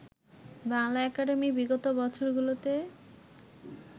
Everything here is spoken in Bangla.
বাংলা একাডেমি বিগত বছরগুলোতে